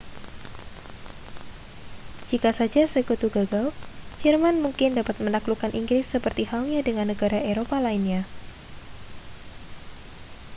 jika saja sekutu gagal jerman mungkin dapat menaklukkan inggris seperti halnya dengan negara eropa lainnya